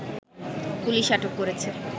police আটক করেছে